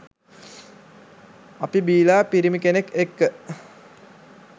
අපි බිලා පිරිමි කෙනෙක් එක්ක